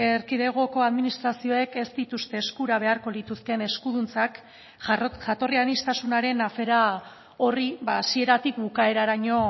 erkidegoko administrazioek ez dituzte eskura beharko lituzkeen eskuduntzak jatorri aniztasunaren afera horri hasieratik bukaeraraino